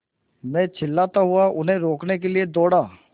मैं चिल्लाता हुआ उन्हें रोकने के लिए दौड़ा